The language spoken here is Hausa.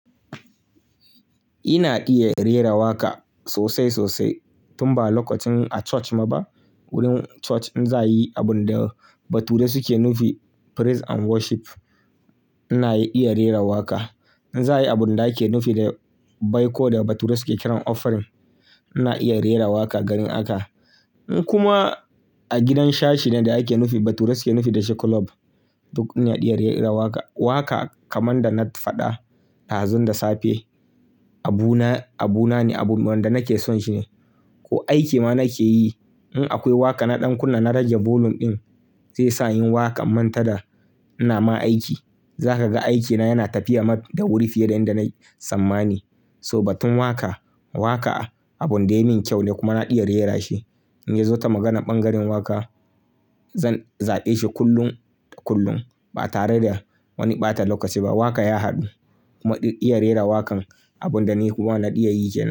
Ina iya rera waƙa sosai sosai tun ba lokacin a church ma ba. Wurin church in za a yi abun da bature suke nufi praise and worship ina iya rera waƙa. In za a yi abun da ake nufi da baiko da bature suke kiran offering ina iya rera waƙa garin aka. In kuma a gidan shashi ne da ake nufi bature suke nufi da shi kulob duk ina iya rera waƙa. Waƙa kaman da na faɗa dazun da safe abu na, abu na ne abun da nake son shi ne. Ko aiki ma nake yi in akwai waƙa na ɗan kunna na rage volume ɗin zai sa yin waƙan manta da ina ma aiki. Za ka ga aikina yana tafiya maf da wuri fiye da in da na tsammani. So batun waƙa waƙa abun da ya min kyau ne kuma ina iya rera shi. In ya zo ta maganar ɓangaren waƙa zan zaɓe shi kullum da kullum ba tare da wani ɓata lokaci ba. Waƙa ya haɗu kuma iya rera waƙan abun da ni kuma na iya yike.